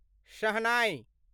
शहनाइ